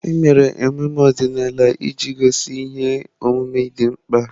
Emere ememe ọdịnala iji gosi ihe omume dị mkpa.